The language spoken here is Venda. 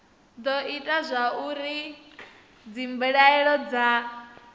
do ita zwauri dzimbilaelo dza